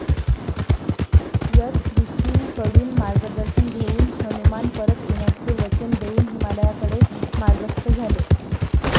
यश ऋषींकडून मार्गदर्शन घेऊन हनुमान परत येण्याचे वचन देऊन हिमालयाकडे मार्गस्थ झाले.